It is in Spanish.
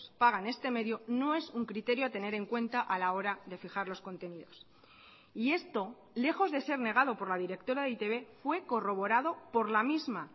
pagan este medio no es un criterio a tener en cuenta a la hora de fijar los contenidos y esto lejos de ser negado por la directora de e i te be fue corroborado por la misma